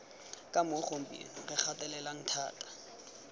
kamo gompieno re gatelelang thata